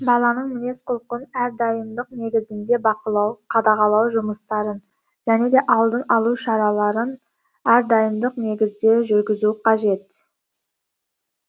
баланың мінез құлқын әрдайымдық негізінде бақылау қадағалау жұмыстарын және де алдын алу шараларын әрдайымдық негізде жүргізу қажет